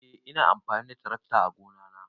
Eh ina amfani da tarakta ã gona na.